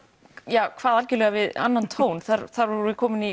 kvað algjörlega við annan tón þar vorum við komin í